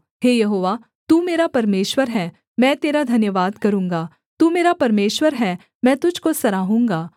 हे यहोवा तू मेरा परमेश्वर है मैं तेरा धन्यवाद करूँगा तू मेरा परमेश्वर है मैं तुझको सराहूँगा